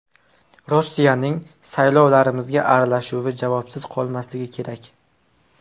Rossiyaning saylovlarimizga aralashuvi javobsiz qolmasligi kerak.